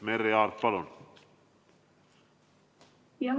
Merry Aart, palun!